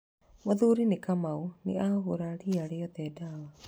Mũthuri ti Kamau nĩ ahũra ria rĩothe ndawa.